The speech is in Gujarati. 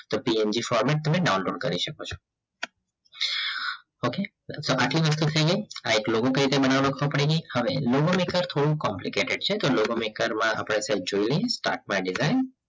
PNG formate તમે ડાઉનલોડ કરી શકો છો okay આ એક કઈ રીતે બનાવવાનો ખબર પડી ગઈ હવે logo maker થોડું complicated છે તો આપણે logo maker સહેજ જોયું નહિ start for a design